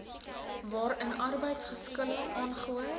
waarin arbeidsgeskille aangehoor